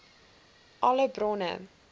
alle bronne